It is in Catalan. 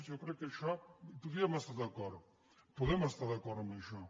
jo crec que en això hi podríem estar d’acord podem estar d’acord en això